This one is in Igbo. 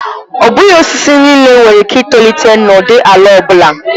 Ọ bụghị osisi niile nwere ike itolite n'ụdị ala ọ bụla.